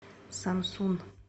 самсун